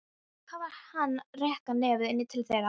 Hvað var hann að reka nefið inn til þeirra?